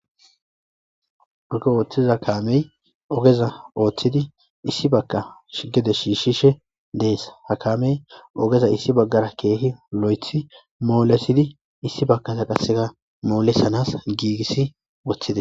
Ogge oththiza kaamey oggeza oththidi issi bagga gede shishishe dess ha kaamey ogeza issi bagga kehi lo'athi mollisidi issi bageza qaseka molisanas gigisidi woththides.